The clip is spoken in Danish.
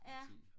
ja